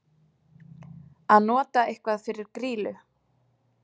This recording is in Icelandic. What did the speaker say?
Að nota eitthvað fyrir grýlu